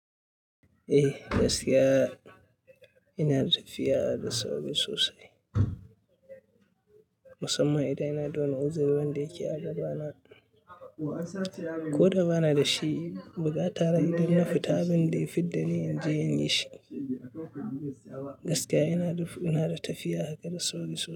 Eh, gaskiya ina da tafiya da sauri sosai, musamman idan ina da wani uzirin wanda yake a gabana. Ko da ba na da shi, bukata na idan na fita abin da ya fidda ni inje inyi shi. Gaskiya ina da tafiya haka da sauri sosai.